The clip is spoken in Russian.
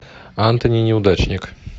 антони неудачник